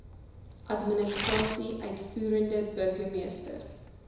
administrasie uitvoerende burgermeester